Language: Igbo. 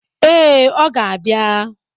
Ee, ọ ga-abịa.